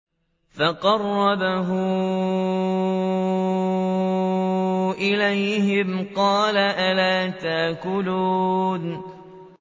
فَقَرَّبَهُ إِلَيْهِمْ قَالَ أَلَا تَأْكُلُونَ